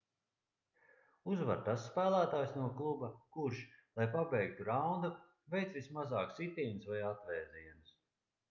uzvar tas spēlētājs no kluba kurš lai pabeigtu raundu veic vismazāk sitienus vai atvēzienus